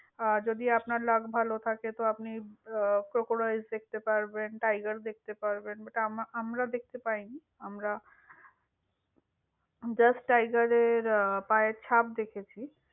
আর যদি আপনার luck ভালো থাকে তো আপনি, আহ crocodile দেখতে পারবেন, tiger দেখতে পারবেন, but আম~ আমরা দেখতে পাইনি। আমরা just tiger এর পায়ের ছাপ দেখেছি।